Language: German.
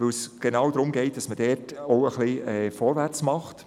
Denn es geht genau darum, dass man dort ein bisschen vorwärtsmacht.